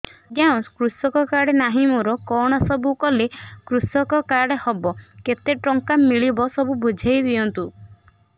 ଆଜ୍ଞା କୃଷକ କାର୍ଡ ନାହିଁ ମୋର କଣ ସବୁ କଲେ କୃଷକ କାର୍ଡ ହବ କେତେ ଟଙ୍କା ମିଳିବ ସବୁ ବୁଝାଇଦିଅନ୍ତୁ